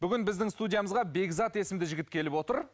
бүгін біздің студиямызға бекзат есімді жігіт келіп отыр